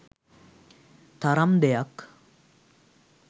තරම් දෙයක්?